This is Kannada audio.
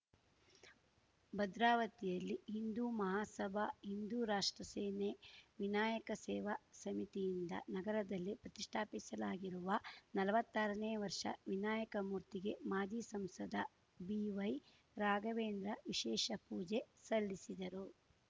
ಭದ್ರಾವತಿಯಲ್ಲಿ ಇಂದೂ ಮಹಾಸಭಾಇಂದೂ ರಾಷ್ಟ್ರ ಸೇನೆ ವಿನಾಯಕ ಸೇವಾ ಸಮಿತಿಯಿಂದ ನಗರದಲ್ಲಿ ಪ್ರತಿಷ್ಠಾಪಿಸಲಾಗಿರುವ ನಲ್ವತ್ತಾರನೇ ವರ್ಷ ವಿನಾಯಕ ಮೂರ್ತಿಗೆ ಮಾಜಿ ಸಂಸದ ಬಿವೈರಾಘವೇಂದ್ರ ವಿಶೇಷ ಪೂಜೆ ಸಲ್ಲಿಸಿದರು